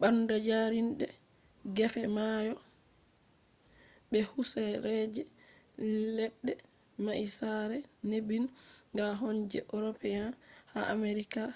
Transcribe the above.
banda jarinde gefe mayo be husereji ledde mai sare nebin ga on je european ha americas